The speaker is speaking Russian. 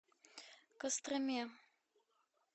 костроме